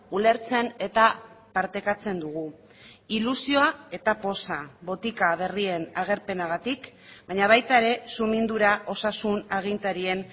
ulertzen eta partekatzen dugu ilusioa eta poza botika berrien agerpenagatik baina baita ere sumindura osasun agintarien